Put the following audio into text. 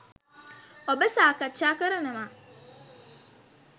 ඔබ සාකච්ජා කරනවා.